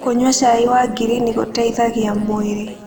Kũnyua cai wa ngirini gũteĩthagĩa mwĩrĩ